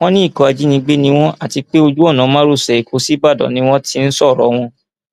wọn ní ikọ ajínigbé ni wọn àti pé ojú ọnà márosẹ ẹkọ ṣíbàdàn ni wọn ti ń sọrọ wọn